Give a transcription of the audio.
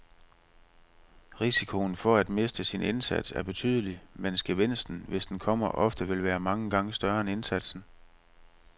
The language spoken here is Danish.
Risikoen for at miste sin indsats er betydelig, mens gevinsten, hvis den kommer, ofte vil være mange gange større end indsatsen.